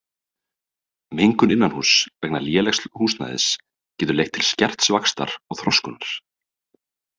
Mengun innanhúss vegna lélegs húsnæðis getur leitt til skerts vaxtar og þroskunar.